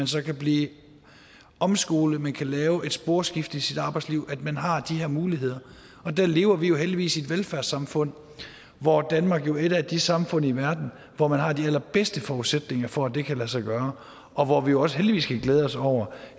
så kan blive omskolet lave et sporskifte i sit arbejdsliv at man har de her muligheder og der lever vi jo heldigvis i et velfærdssamfund hvor danmark jo er et af de samfund i verden hvor man har de allerbedste forudsætninger for at det kan lade sig gøre og hvor vi jo også heldigvis kan glæde os over